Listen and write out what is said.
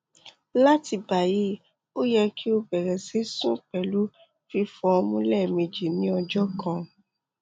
lati bayi o yẹ ki o bẹrẹ sisun pẹlu fifọ ọmu lẹmeji ni ọjọ kan